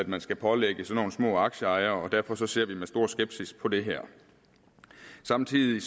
man skal pålægge sådan nogle små aktieejere og derfor ser vi med stor skepsis på det her samtidig